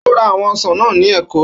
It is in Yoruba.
Ó ra àwọn ọsàn náà ní Èkó